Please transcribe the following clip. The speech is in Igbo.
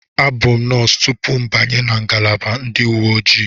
Abụ m nọọsụ tupu m abanye na ngalaba ndị uwe ojii.